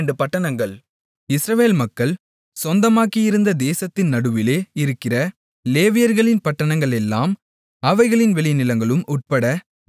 இஸ்ரவேல் மக்கள் சொந்தமாக்கியிருந்த தேசத்தின் நடுவிலே இருக்கிற லேவியர்களின் பட்டணங்களெல்லாம் அவைகளின் வெளிநிலங்களும் உட்பட நாற்பத்தெட்டு